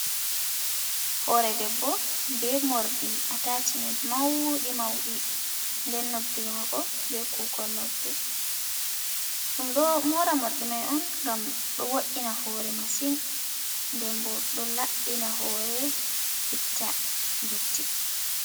Hoore, debbo be morɗi atoshimen mauɗi mauɗi, den noppi mako be kukon noppi, ɗum ɗo moora morɗi mai on gam ɗo wo’ina hoore masin, den bo ɗo labbina hoore itta dotti.